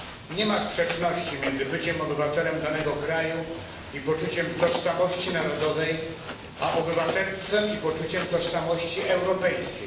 Nie ma sprzeczności między byciem obywatelem danego kraju i poczuciem tożsamości narodowej a obywatelstwem i poczuciem tożsamości europejskiej.